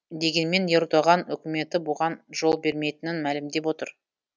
дегенмен ердоған үкіметі бұған жол бермейтінін мәлімдеп отыр